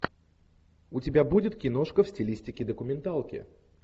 у тебя будет киношка в стилистике документалки